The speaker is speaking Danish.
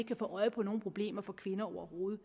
kan få øje på nogen problemer for kvinder overhovedet